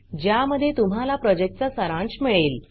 ज्यामध्ये तुम्हाला प्रॉजेक्टचा सारांश मिळेल